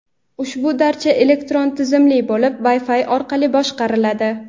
Ushbu darcha elektron tizimli bo‘lib Wi-Fi orqali boshqariladi.